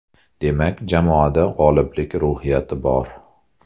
Demak, jamoada g‘oliblik ruhiyati bor.